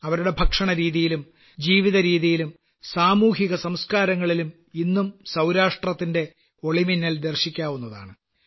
അവരുടെ ഭക്ഷണരീതിയിലും ജീവിതരീതിയിലും സാമൂഹികസംസ്ക്കാരങ്ങളിലും ഇന്നും സൌരാഷ്ട്രത്തിന്റെ ഒളിമിന്നൽ ദർശിക്കാവുന്നതാണ്